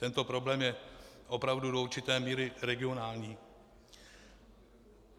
Tento problém je opravdu do určité míry regionální.